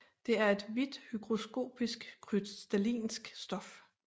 Det er et hvidt hygroskopisk krystallinsk stof